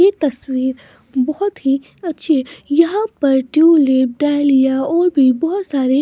ये तस्वीर बहुत ही अच्छी है यहां पर ट्यूलेप डालिया और भी बहुत सारे --